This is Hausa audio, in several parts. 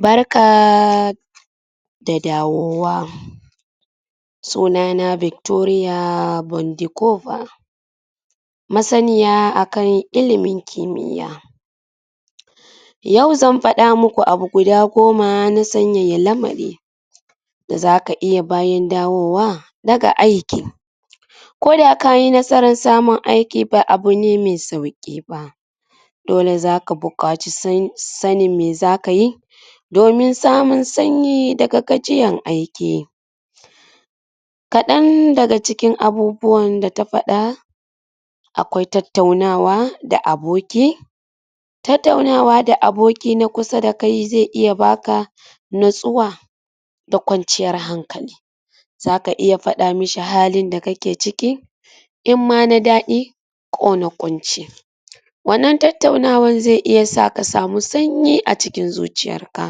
Barka da dawowa, suna na Victoria Bondicover, masana a kan ilimin kimiyya. Yau zan faɗa maku abu guda goma na sanyay lamari, z aka iya bayan dawowa daga aiki. Ko da ka yi nasarar samun aiki ba abu ne mai sauƙi ba, dole z aka buƙaci sanin mai za ka yi domin samun sanyi daga gajiyar aiki. kaɗan daga cikin abubuwan da ta faɗa akwai tattaunawa da aboki. Tattaunawa da aboki na kusa da kai zai iya baka natsuwa da kwanciyar hankali, za ka iya faɗa ma shi halin da kake ciki inma na daɗi ko na ƙunci. Wannan tattaunawan zai iya s aka samu sanyi a cikin zuciyarka,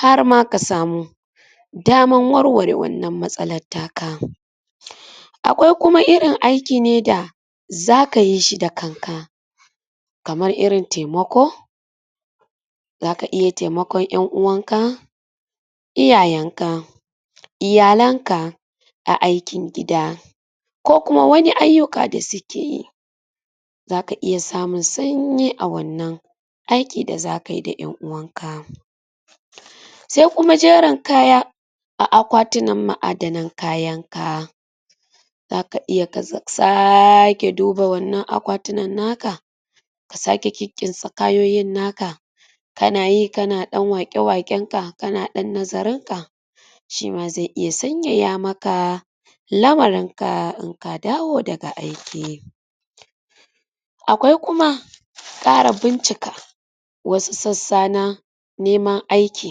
har ma ka samu damar warware wannan matsalar taka. Akwai kuma irin aiki ne da z aka yi shi ne da kanka. Kamar irin taimako, z aka iya taimakon ‘yan uwanka, iyayenk, iyalanka a aikin gida ko kuma wani aiyyuka da suke yi, za ka iya samun sanyi a wannan aiki da z aka yi da ‘yan uwanka. Sai kuma jeran kaya a akwatunan ma’adanan kayaka, z aka iya ka sake duba wannan akwatunan nakaka sake kikkintsakayoyin naka, kana yi kana ɗan waƙe waƙenka, kana ɗan nazarinka shima zai iya sanyaya maka lamarinka idan ka dawo daga aiki. Akwai kuma a bincika wasu sassa na neman aiki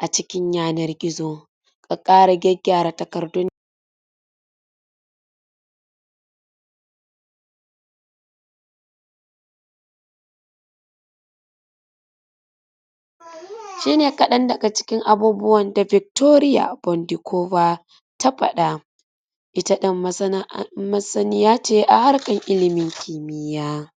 a cikin yanar gizo, ka ƙara gyaggyara takardun. Shine kaɗan daga cikin abubuwan da Victoria Bondicover ta faɗa. ita ɗin masaniya ce a harkan ilimin kimiyya.